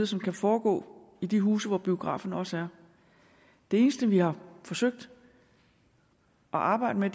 som kan foregå i de huse hvor biograferne også er det eneste vi har forsøgt at arbejde med